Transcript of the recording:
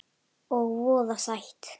Og voða sætt.